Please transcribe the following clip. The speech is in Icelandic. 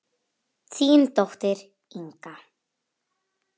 Þín dóttir, Inga.